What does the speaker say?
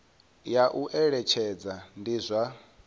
ya u eletshedza ndi zwa